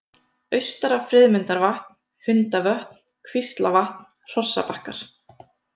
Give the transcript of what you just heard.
Austara-Friðmundarvatn, Hundavötn, Kvíslavatn, Hrossabakkar